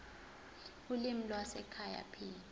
ulimi lwasekhaya p